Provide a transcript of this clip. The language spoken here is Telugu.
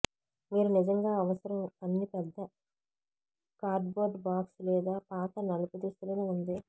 మీరు నిజంగా అవసరం అన్ని పెద్ద కార్డ్బోర్డ్ బాక్స్ లేదా పాత నలుపు దుస్తులను ఉంది